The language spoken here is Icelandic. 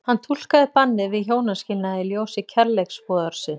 Hann túlkaði bannið við hjónaskilnaði í ljósi kærleiksboðorðsins.